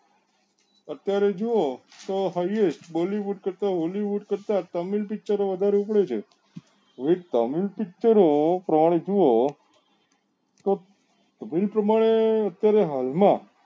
અત્યારે જોવો તો highest bollywood કરતા hollywood તમિલ picture ઓ વધારે ઉતરે છે હવે તમિલ picture ઓ તમે જોવો તો પ્રમાણે અત્યારે હાલ માં